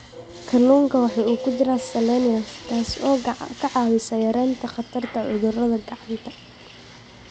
Kalluunka waxaa ku jira selenium, taas oo ka caawisa yaraynta khatarta cudurada gacanta.